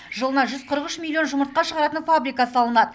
жылына жүз қырық үш миллион жұмыртқа шығаратын фабрика салынады